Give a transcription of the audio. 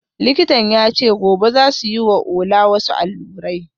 Likitan ya ce gobe za su yi wa Ola wasu allurai